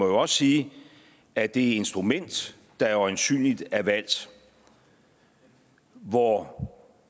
også sige at det instrument der øjensynlig er valgt hvor